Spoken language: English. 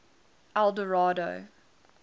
eldorado